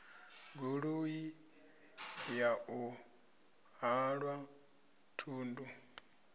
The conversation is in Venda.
goloi ya u halwa thundu